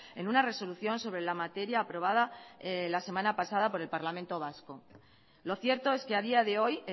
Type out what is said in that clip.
en una resolución sobre la materia aprobada la semana pasada por el parlamento vasco lo cierto es que a día de hoy